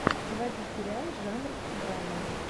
заводи сериал жанр драмы